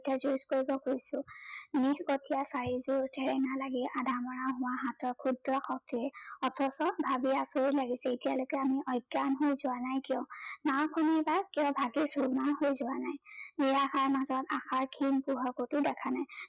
হাতৰ খুদ্ৰ শক্তিয়ে অথচ ভাবি আচৰিত লাগিছে এতিয়া আমি অজ্ঞান হৈ যোৱা নাই কিয়। নাওখন ভঙি চোৰ মাৰ হৈ যোৱা নাই সেইয়া নিৰাশাৰ মাজত আশাৰ খিন পোহৰ কতো দেখা নাই।